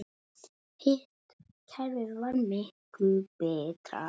Hitt kerfið var miklu betra.